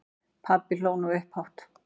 Pabbi hló nú upphátt.